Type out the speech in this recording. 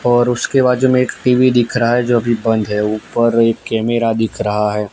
और उसके बाजू में एक टी_वी दिख रहा है जो अभी बंद है ऊपर एक कैमरा दिख रहा है।